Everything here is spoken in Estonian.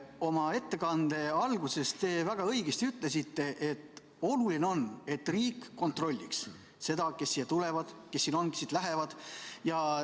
Oma ettekande alguses te ütlesite väga õigesti, et oluline on, et riik kontrolliks seda, kes siia tulevad, kes siin on ja kes siit lähevad.